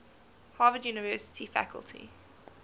harvard university faculty